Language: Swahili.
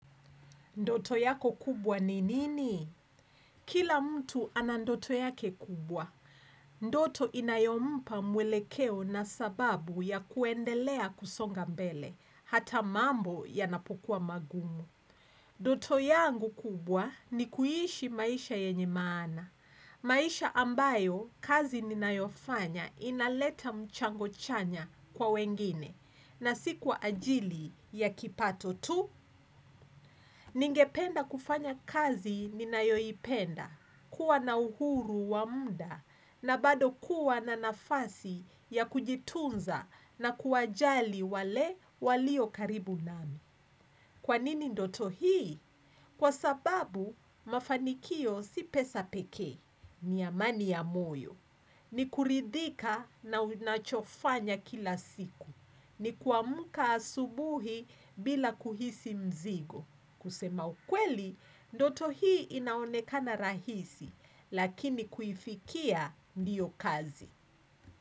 Ndoto yako kubwa ni nini? Kila mtu ana ndoto yake kubwa. Ndoto inayompa mwelekeo na sababu ya kuendelea kusonga mbele. Hata mambo yanapokuwa magumu. Ndoto yangu kubwa ni kuiishi maisha yenye maana. Maisha ambayo kazi ninayofanya inaleta mchango chanya kwa wengine. Na si kwa ajili ya kipato tu. Ningependa kufanya kazi ninayoipenda, kuwa na uhuru wa muda, na bado kuwa na nafasi ya kujitunza na kuwajali wale walio karibu nami. Kwa nini ndoto hii? Kwa sababu, mafanikio si pesa pekee. Ni amani ya moyo. Ni kuridhika na unachofanya kila siku. Ni kuamka asubuhi bila kuhisi mzigo. Kusema ukweli, ndoto hii inaonekana rahisi, lakini kuifikia ndiyo kazi.